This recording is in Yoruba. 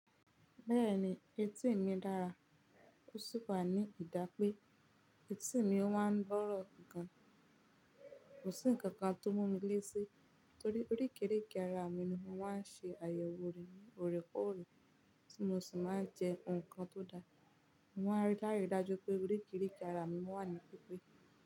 Bẹ́ẹ̀ni, etí mi dára. Ó sì wà ní ìdápe. Etí mi ó máa ń gboro gan. Kò sí ǹkan kan tó mú mi léti, torí orikereke ara mi ni wọ́n máa ń ṣe àyẹ̀wò rẹ̀ ní òrèkóòrè, tí mo sì máa ń jẹ nǹkan tó da. Maa n rí lári dájú pé orekereke ara mi wà ní pípé.